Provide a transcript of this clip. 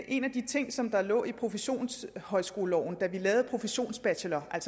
en af de ting som lå i professionshøjskoleloven da vi lavede professionsbacheloren